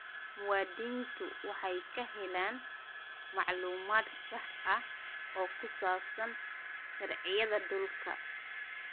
Muwaadiniintu waxay helaan macluumaad sax ah oo ku saabsan sharciyada dhulka.